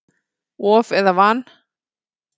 Of eða van?